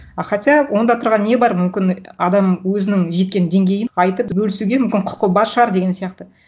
а хотя онда тұрған не бар мүмкін адам өзінің жеткен деңгейін айтып бөлісуге мүмкін құқы бар шығар деген сияқты